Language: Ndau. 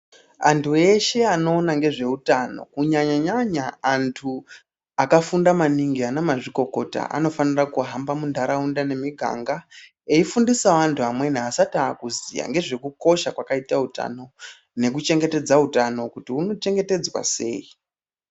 Antu eshe anoona nezvehutano kunyanya vantu vakafunda maningi ana mazvikokota vanofanira kuhamba mumiganga eifundisa antu amweni asati akuziva ndezvekukosha kwakaita hutano nekuchengetedza hutano kuti huno chengetedzwa sei.